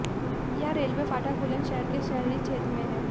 यह रेलवे फाटक बुलंदशहर के शहरी क्षेत्र में है